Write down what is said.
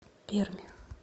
пермь